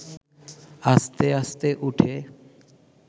আস্তে আস্তে উঠে